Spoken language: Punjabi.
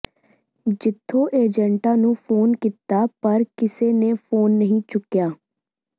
ਜਿਥੋਂ ਏਜੇਂਟਾਂ ਨੂੰ ਫੋਨ ਕੀਤਾ ਪਰ ਕਿਸੇ ਨੇ ਫੋਨ ਨਹੀਂ ਚੁੱਕਿਆ